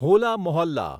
હોલા મોહલ્લા